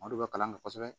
O de bɛ kalan kɛ kosɛbɛ